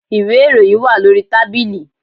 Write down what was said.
Ìwé ìròyìn wà lórí tábìlì